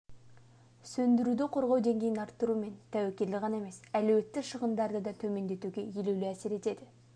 сөндіруді қорғау деңгейін арттыру мен тәуекелді ғана емес әлеуетті шығындарды да төмендетуге елеулі әсер етеді